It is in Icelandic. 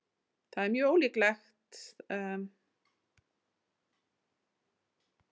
Það er mjög ólíkt okkur að hleypa þeim svona oft í gegn.